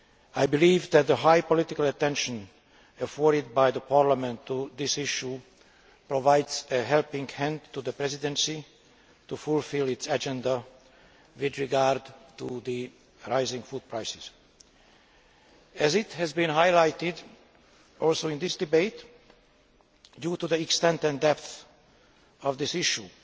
I believe that the high level of political attention afforded by Parliament to this issue provides a helping hand to the Presidency to fulfil its agenda with regard to the rising food prices. As has also been highlighted in this debate, due to the extent and depth of this issue,